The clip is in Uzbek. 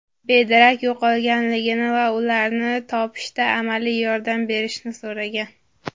bedarak yo‘qolganligini va ularni topishda amaliy yordam berishni so‘ragan.